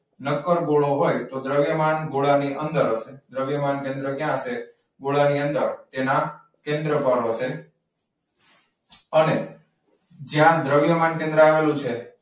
નક્કર ગોળો હોય તો દ્રવ્યમાન ગોળાની અંદર હશે. દ્રવ્યમાન કેન્દ્ર ક્યાં હસે? ગોળાની અંદર તેના કેન્દ્ર ઉપર હસે. અને જ્યાં દ્રવ્યમાન કેન્દ્ર આવેલું છે,